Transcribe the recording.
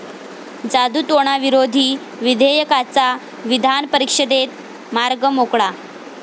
जादूटोणाविरोधी विधेयकाचा विधानपरिषदेत मार्ग मोकळा